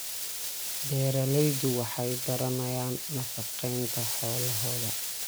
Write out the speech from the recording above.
Beeraleydu waxay baranayaan nafaqeynta xoolahooda.